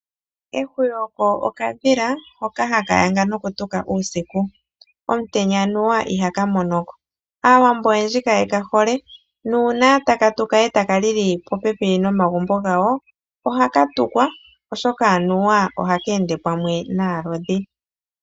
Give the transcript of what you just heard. Ehwiyu oko okadhila hoka haka yanga nokutuka uusiku, omutenya anuwa ihaka monoko. Aawambo oyendji kayekahole nuuna taka tuka etaka lili popepi nomagumbo gawo ohaka tukwa oshoka anuwa ohaka ende pamwe naalodhi.